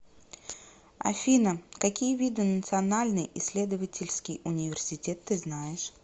афина какие виды национальный исследовательский университет ты знаешь